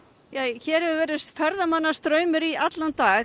hér hefur verið straumur í allan dag